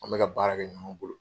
An bɛ ka baara kɛ ninnu bolo.